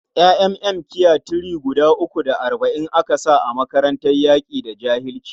ƴa'ƴan mkiya three uku da arba'in aka sa a makarantar yaƙi da jahilci?